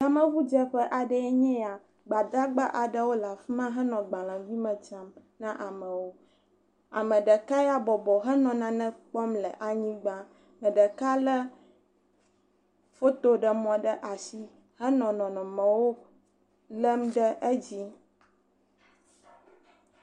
Yemeŋudzeƒe aɖee nye eya, gbadagba aɖewo le afi ma henɔ gbalẽgui me tsam na amewo, ame ɖeka ya bɔbɔ henɔ nane kpɔm le anyigba, me ɖeka lé fotoɖemɔ ɖe asi henɔ nɔnɔmewo lém ɖe edzi.